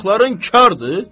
Qulaqların kardır?